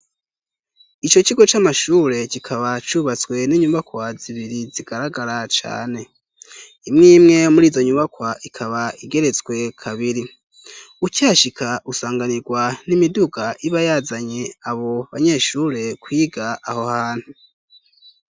Ico kigo c'amashure kikaba cubatswe n'inyubakwa zibiri zigaragara cane. Imwimwe muri izo nyubakwa ikaba igeretswe kabiri ukihashika usanganirwa n'imiduga iba yazanye abo banyeshure kwiga aho hantu.